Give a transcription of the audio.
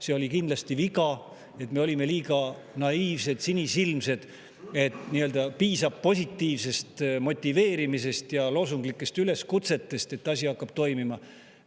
See oli kindlasti viga, et me olime liiga naiivsed ja sinisilmsed,, et piisab positiivsest motiveerimisest ja loosunglikest üleskutsetest, et asi hakkaks toimima.